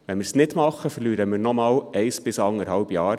Tun wir es nicht, verlieren wir nochmals eines bis anderthalb Jahre.